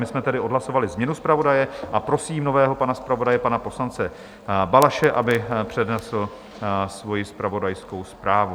My jsme tedy odhlasovali změnu zpravodaje a prosím nového pana zpravodaje, pana poslance Balaše, aby přednesl svoji zpravodajskou zprávu.